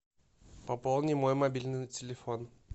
пополни мой мобильный телефон